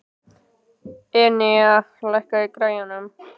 Enea, lækkaðu í græjunum.